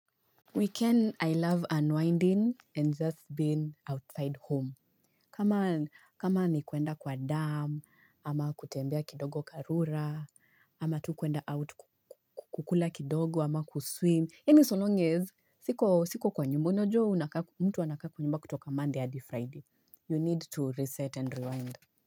Weekend, I love unwinding and just been outside home. Kama nikwenda kwa damu, ama kutembea kidogo karura, ama tu kwenda out kukula kidogo, ama kuswim. Hini so long as. Siko kwa nyumba. Unajua mtu anakaa kwa nyumba kutoka monday hadi Friday. You need to reset and rewind.